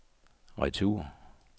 retur